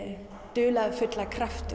dularfulla krafti